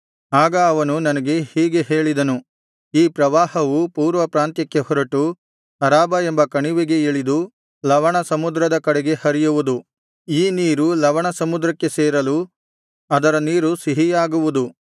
ಆಗ ಅವನು ನನಗೆ ಹೀಗೆ ಹೇಳಿದನು ಈ ಪ್ರವಾಹವು ಪೂರ್ವ ಪ್ರಾಂತ್ಯಕ್ಕೆ ಹೊರಟು ಅರಾಬಾ ಎಂಬ ಕಣಿವೆಗೆ ಇಳಿದು ಲವಣ ಸಮುದ್ರದ ಕಡೆಗೆ ಹರಿಯುವುದು ಈ ನೀರು ಲವಣ ಸಮುದ್ರಕ್ಕೆ ಸೇರಲು ಅದರ ನೀರು ಸಿಹಿಯಾಗುವುದು